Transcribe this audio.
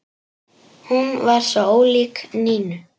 Hún var svo ólík Nínu.